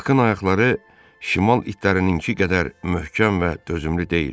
Bakın ayaqları şimal itlərinin qədər möhkəm və dözümlü deyildi.